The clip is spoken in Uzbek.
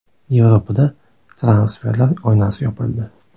Yevropada transferlar oynasi yopildi.